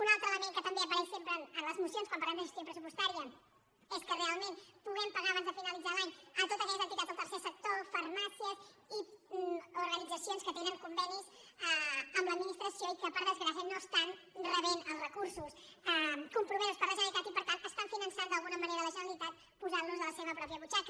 un altre element que també apareix sempre a les mo·cions quan parlem de gestió pressupostària és que realment puguem pagar abans de finalitzar l’any a to·tes aquelles entitats del tercer sector farmàcies i orga·nitzacions que tenen convenis amb l’administració i que per desgràcia no reben els recursos compromesos per la generalitat i per tant financen d’alguna mane·ra la generalitat posant·los de la seva pròpia butxa·ca